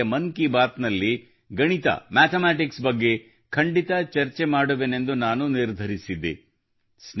ಈ ಬಾರಿಯ ಮನ್ ಕಿ ಬಾತ್ನಲ್ಲಿ ಗಣಿತmathematics ಬಗ್ಗೆ ಖಂಡಿತ ಚರ್ಚೆ ಮಾಡುವೆನೆಂದು ನಾನು ನಿರ್ಧರಿಸಿದ್ದೆ